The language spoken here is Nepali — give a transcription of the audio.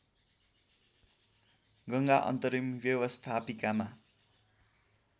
गङ्गा अन्तरिम व्यवस्थापिकामा